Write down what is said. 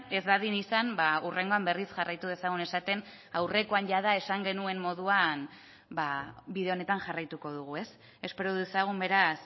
ez dadin izan hurrengoan berriz jarraitu dezagun esaten aurrekoan jada esan genuen moduan bide honetan jarraituko dugu ez espero dezagun beraz